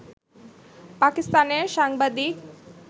পাকিস্তানের সাংবাদিক